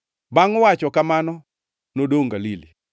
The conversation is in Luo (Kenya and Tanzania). Bangʼ wacho kamano nodongʼ Galili.